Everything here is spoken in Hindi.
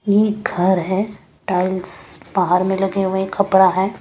यह घर है टाइल्स पहाड़ में लगे हुए हैं खपड़ा है।